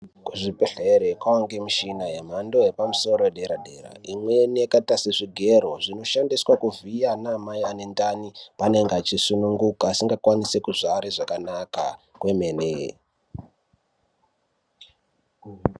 Kuzvibhedhlere kwawande mishina yemhando yepamusoro yedera dera imweni yakaita sezvi zvigero zvinoshandiswa kuvhiya anamai ane ntani paanenge achisununguka asingakwanisi kuzvare zvakanaka kwemene.